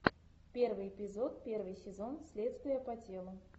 первый эпизод первый сезон следствие по телу